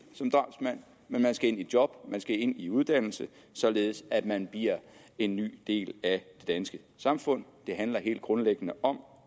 som drabsmand men man skal ind i job man skal ind i uddannelse således at man bliver en ny del af det danske samfund det handler helt grundlæggende om